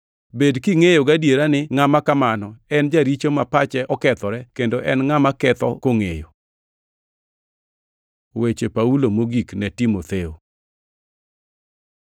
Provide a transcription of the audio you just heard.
Bed kingʼeyo gadiera ni ngʼama kamano en Jaricho ma pache okethore kendo en ngʼama ketho kongʼeyo. Weche Paulo mogik ne Timotheo